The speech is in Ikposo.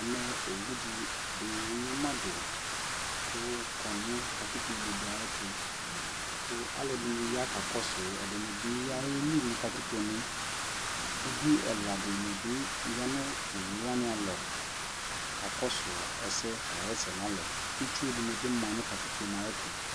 ɛmɛ ɔwʋ dini anyama dʋ kʋ ɔkɔ nʋ katikpɔ nɛ ayɛtʋ kʋalʋɛdini ya kakɔsʋ, ɛdini bi ayɛli nʋ katikpɔ nɛ, ʋvi ɛla dini bi yanʋ ɔwʋ wani alɔ kakɔsʋ ɛsɛ kayɛsɛ nʋ ala, itsʋ dibi manʋ katikpɔɛ ayɛtʋ